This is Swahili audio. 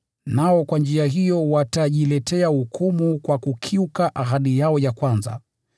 Nao kwa njia hiyo watajiletea hukumu kwa kukiuka ahadi yao ya kwanza.